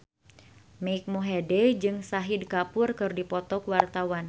Mike Mohede jeung Shahid Kapoor keur dipoto ku wartawan